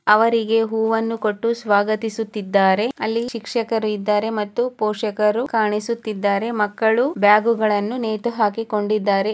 ಅವರಿಗೆ ಹುವ್ವನ್ನು ಕೊಟ್ಟು ಸ್ವಾಗತಿಸುತ್ತಿದ್ದಾರೆ ಅಲ್ಲಿ ಶಿಕ್ಷಕರು ಇದ್ದಾರೆ ಮತ್ತು ಪೋಷಕರು ಕಾಣಿಸುತ್ತಿದ್ದಾರೆ ಮಕ್ಕಳು ಬ್ಯಾಗು ಗಳನ್ನು ನೇತುಹಾಕಿಕೊಂಡಿದ್ದಾರೆ.